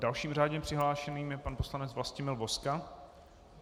Dalším řádně přihlášeným je pan poslanec Vlastimil Vozka.